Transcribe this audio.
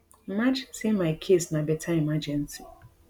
imagine say my case na beta emergency